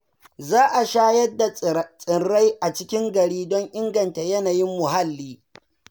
Za a shayar da tsirrai a cikin gari don inganta yanayin muhalli.